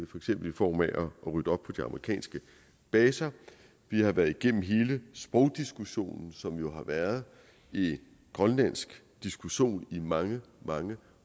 eksempel i form af få ryddet op på de amerikanske baser vi har været igennem hele sprogdiskussionen som jo har været en grønlandsk diskussion i mange